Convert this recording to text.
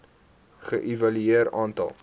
ge evalueer aantal